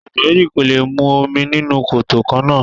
Àgbò méjì kò lè mu omi nínú koto kannáà.